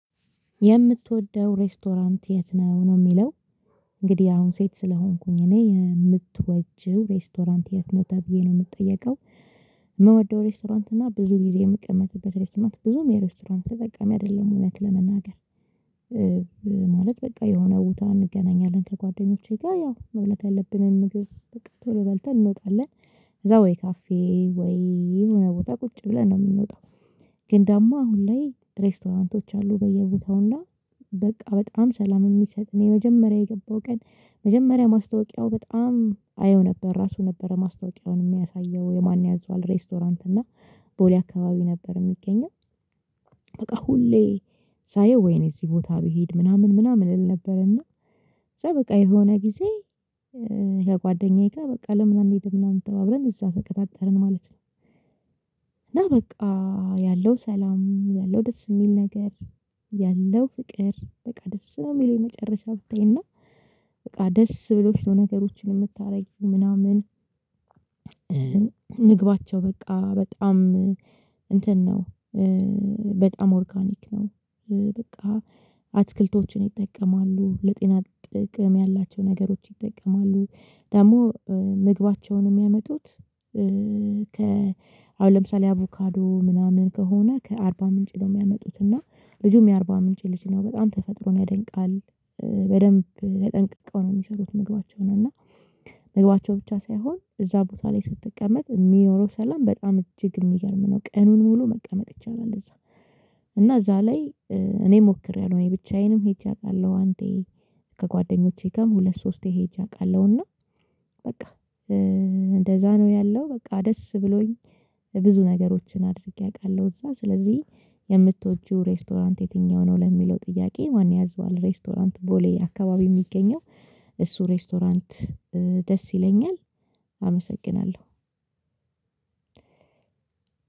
የምትወደው ሬስቶራንት የት ነው ነው የሚለው እንግዲህ አሁን ሴት ስለሆንኩኝ እኔ የምትወጂው ሬስቶራንት የት ነው ተብዬ ነው የምጠየቀው የምወደው ሬስቶራንት እና ብዙ ጊዜ የምቀመጥበት ሬስቶራንት ብዙም የሬስቶራንት ተጠቃሚ አይደለሁም እውነት ለመናገር። ማለት በቃ የሆነ ቦታ እንገናኛለን ከጓደኞቼ ጋር ያው መብለት ያለብንን ምግብ ቶሎ በልተን እንወጣለን። ከዛ ወይ ካፌ ወይ የሆነ ቦታ ቁጭ ብለን ነው የምንወጣው ግን ዳግሞ አሁን ላይ ሬስቶታንቶች አሉ በየቦታው እና በቃ በጣም ሰላም የሚሰጥ እኔ የመጀመሪያ የገባው ቀን መጀመሪያ ማስታወቂያው በጣም አየው ነበር። ራሱ ነበር ማስታወቂያውን የሚያሳየው። የማን ያዟወል ሬስቶራንት እና ቦሌ አካባቢ ነበር የሚገኘው። በቃ ሁሌ ሳየው ወይኔ እዚህ ቦታ ብሄድ ምናምን ምናምን እል ነበር እና በቃ የሆነ ጊዜ ከጓደኛዬ ጋር በቃ ለምን አንሂድ ምናምን ተባብለን እዛ ተቀጣጠርን ማለት ነው። እና በቃ ያለው ሰላም ያለው ደስ የሚል ነገር ያለው ፍቅር በቃ ደስ ነው የሚለው የመጨረሻ ብታይና በቃ ደስ ብሎሽ ነው ነገሮችን የምታደርጊ ምናምን ምግባቸው በቃ በጣም እንትን ነው። በጣም ኦርጋኒክ ነው በቃ። አትክልቶችን ይጠቀማሉ፣ ለጤና ጥቅም ያላቸው ነገሮች ይጠቀማሉ፣ ደግሞ ምግባቸውን የሚያመጡት ከ አሁን ለምሳሌ አቮካዶ ምናምን ከሆነ ከአርባ ምንጭ ነው የሚያመጡት እና ልጁም የአርባ ምንጭ ልጅ ነው በጣም ተፈጥሮን ያደንቃል። በደንብ ተጠንቅቀው ነው የሚሰሩት ምግባቸው ነው እና ምግባቸው ብቻ ሳይሆን እዛ ቦታ ላይ ስትቀመጥ የሚኖረው ሰላም በጣም እጅግ የሚገርም ነው። ቀኑን ሙሉ መቀመጥ ይቻላል እዛ። እና እዛ ላይ እኔ ሞክሬያለሁ። እኔ ብቻዬን ሄጄ አውቃለሁ አንዴ ከጓደኞቼ ጋርም ሁለት ሶስቴ ሄጄ አውቃለሁና በቃ እንደዛ ነው ያለው፣ በቃ ደስ ብሎኝ ብዙ ነገሮችን አድርጌ አውቃለሁ። እዛ ስለዚህ የምትወጂው ሬስቶራንት የትኛው ነው ለሚለው ጥያቄ ማን ያዛወል ሬስቶራንት ቦሌ አካባቢ የሚገኘው እሱ ሬስቶራንት ደስ ይለኛል። አመሰግናለሁ።